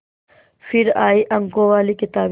फिर आई अंकों वाली किताबें